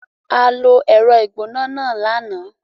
A lo ẹ̀rọ ìgbóná náà lánàá.